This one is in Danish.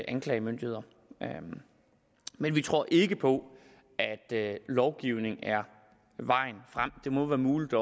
anklagemyndigheder men vi tror ikke på at lovgivning er vejen frem det må være muligt at